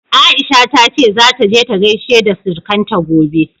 Aisha ta ce zata je ta gaishe da surukanta gobe.